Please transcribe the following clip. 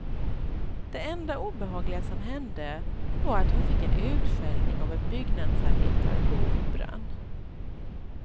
Det enda obehagliga som hände var att hon fick en utskällning av en byggnadsarbetare på operan.